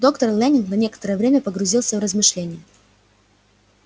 доктор лэннинг на некоторое время погрузился в размышление